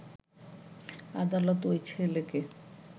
আদালত ওই ছেলেকে